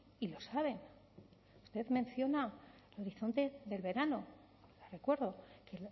y lo saben usted menciona el horizonte del verano le recuerdo que